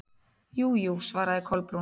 Jú, jú- svaraði Kolbrún.